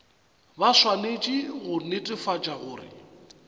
ba swanetše go netefatša gore